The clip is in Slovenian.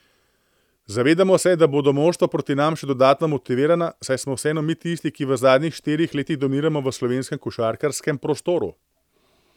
Zavedamo se, da bodo moštva proti nam še dodatno motivirana, saj smo vseeno mi tisti, ki v zadnjih štirih letih dominiramo v slovenskem košarkarskem prostoru.